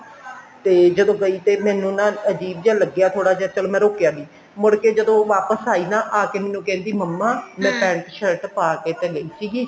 ਤੇ ਜਦੋਂ ਗਈ ਤੇ ਮੈਨੂੰ ਨਾ ਅਜੀਬ ਜਾ ਲੱਗਿਆ ਥੋੜਾ ਜਾ ਚੱਲ ਮੈਂ ਰੋਕਿਆ ਨਹੀਂ ਮੁੜ ਕੇ ਜਦੋਂ ਵਾਪਿਸ ਆਈ ਨਾ ਆਕੇ ਮੈਨੂੰ ਕਹਿੰਦੀ ਮੰਮਾ ਮੈਂ pent shirt ਪਾਕੇ ਤਾਂ ਗਈ ਸੀਗੀ